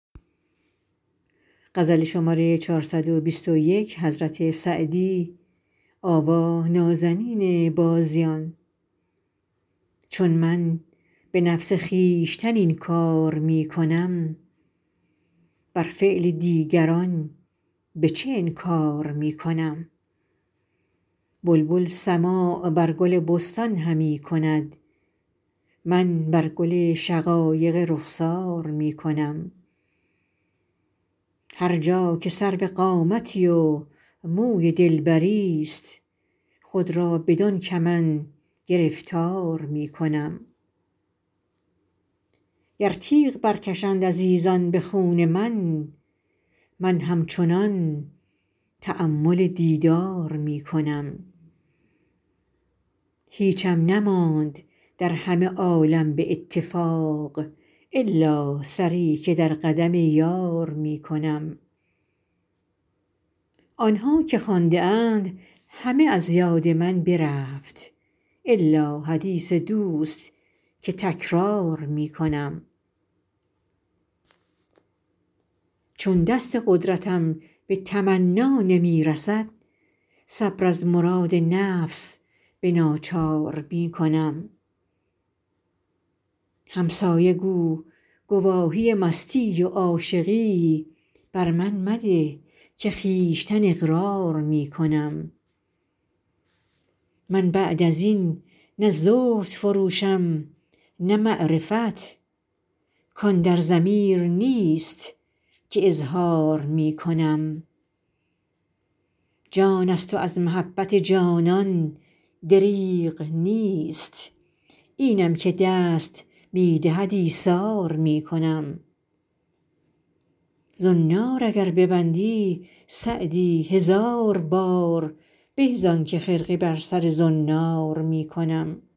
چون من به نفس خویشتن این کار می کنم بر فعل دیگران به چه انکار می کنم بلبل سماع بر گل بستان همی کند من بر گل شقایق رخسار می کنم هر جا که سرو قامتی و موی دلبریست خود را بدان کمند گرفتار می کنم گر تیغ برکشند عزیزان به خون من من همچنان تأمل دیدار می کنم هیچم نماند در همه عالم به اتفاق الا سری که در قدم یار می کنم آن ها که خوانده ام همه از یاد من برفت الا حدیث دوست که تکرار می کنم چون دست قدرتم به تمنا نمی رسد صبر از مراد نفس به ناچار می کنم همسایه گو گواهی مستی و عاشقی بر من مده که خویشتن اقرار می کنم من بعد از این نه زهد فروشم نه معرفت کان در ضمیر نیست که اظهار می کنم جان است و از محبت جانان دریغ نیست اینم که دست می دهد ایثار می کنم زنار اگر ببندی سعدی هزار بار به زان که خرقه بر سر زنار می کنم